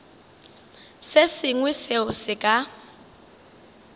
se sengwe seo se ka